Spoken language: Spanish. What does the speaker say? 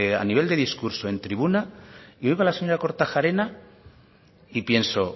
a nivel de discurso en tribuna y oigo a la señora kortajarena y pienso